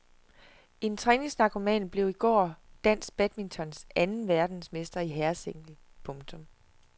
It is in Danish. En træningsnarkoman blev i går dansk badmintons anden verdensmester i herresingle. punktum